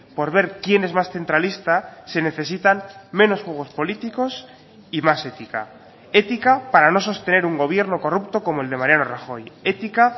por ver quién es más centralista se necesitan menos juegos políticos y más ética ética para no sostener un gobierno corrupto como el de mariano rajoy ética